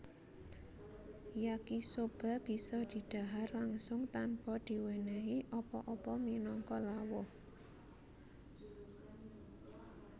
Yakisoba bisa didhahar langsung tanpa diwenehi apa apa minangka lawuh